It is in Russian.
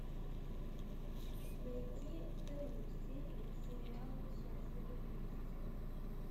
найти вторую серию сериала счастливы вместе